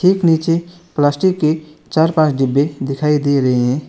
एक नीचे प्लास्टिक के चार पांच डिब्बे दिखाई दे रहे है।